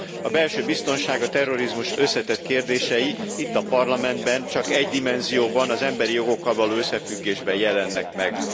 A belső biztonság, a terrorizmus összetett kérdései itt a Parlamentben csak egy dimenzióban, az emberi jogokkal való összefüggésben jelennek meg.